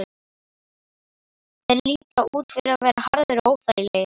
Þeir líta út fyrir að vera harðir og óþægilegir.